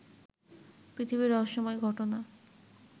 পৃথিবীর রহস্যময় ঘটনা